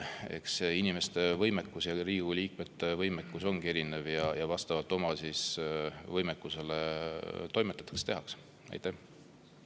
Eks inimeste, ka Riigikogu liikmete võimekus ongi erinev ja vastavalt oma võimekusele toimetatakse, tehakse.